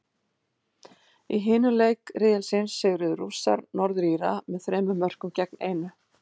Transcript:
Í hinum leik riðilsins sigruðu Rússar, Norður Íra, með þremur mörkum gegn einu.